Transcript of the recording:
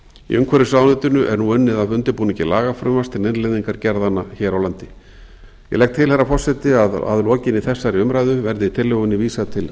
í umhverfisráðuneytinu er nú unnið að undirbúningi lagafrumvarps til innleiðingar gerðanna hér á landi ég legg til herra forseti að að lokinni þessari umræðu verði tillögunni vísað til